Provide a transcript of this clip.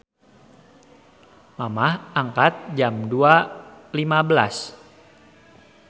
Mamah angkat Jam 02.15